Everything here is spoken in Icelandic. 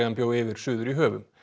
bjó yfir suður í höfum